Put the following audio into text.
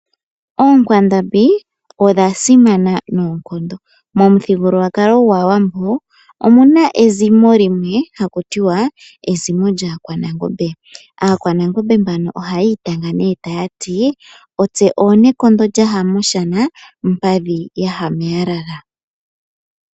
Onkwandambi odha simana noonkondo, momuthigululwakalo gwaAwambo omu na ezimo limwe haku tiwa ezimo lyaakwanangombe, aakwananangombe mbano oha yiitanga nee taya ti; "Otse oonekondo lyaha mOshana, mpadhi yaha meyalala.